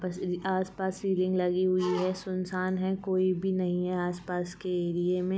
आस-पास लगी हुई हैं सुनसान हैं कोई भी नही हैं आस-पास के एरिये में --